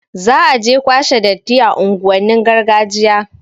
Za aje kwashe datti a unguwannin gargajiya